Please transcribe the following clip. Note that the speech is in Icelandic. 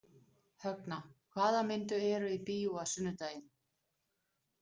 Högna, hvaða myndir eru í bíó á sunnudaginn?